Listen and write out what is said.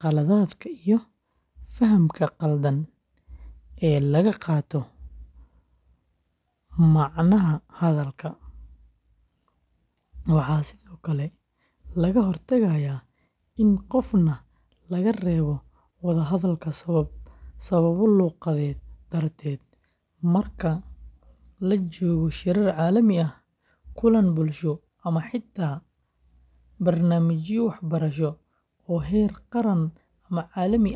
qaladaadka iyo fahamka khaldan ee laga qaato macnaha hadalka. Waxaa sidoo kale laga hortagayaa in qofna laga reebo wada hadalka sababo luuqadeed darteed. Marka la joogo shirar caalami ah, kulan bulsho, ama xitaa barnaamijyo waxbarasho oo heer qaran ama caalami ah.